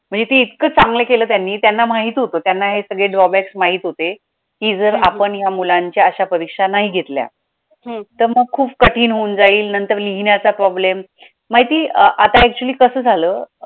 म्हणजे ते इतकं चांगलं केलं त्यांनी, त्यांना माहित होतं त्यांना हे सगळे drawbacks माहित होते, की जर आपण या मुलांच्या अशा परीक्षा नाही घेतल्या तर मग खूप कठीण होऊन जाईल नंतर लिहिण्याचा problem माहितीये आता actually कसं झालं अं